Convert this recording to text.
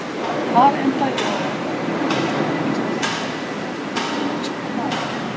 Þar endaði ég á því að kaupa túrkisbláan sundbol með tveimur gullfiskum á maganum.